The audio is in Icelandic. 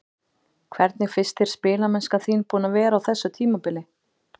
Hvernig finnst þér spilamennskan þín búin að vera á þessu tímabili?